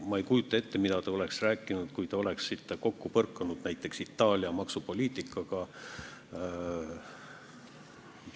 Ma ei kujuta ette, mida te oleksite rääkinud, kui te oleksite kokku puutunud näiteks Itaalia maksupoliitikaga.